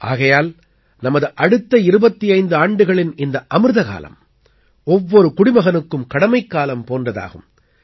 ஆகையால் நமது அடுத்த 25 ஆண்டுகளின் இந்த அமிர்தகாலம் ஒவ்வொரு குடிமகனுக்கும் கடமைக்காலம் போன்றதாகும்